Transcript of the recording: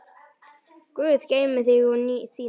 Guð geymi þig og þína.